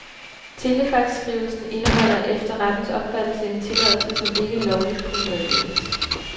Telefaxskrivelsen indeholder efter rettens opfattelse en tilladelse, som ikke lovligt kunne meddeles.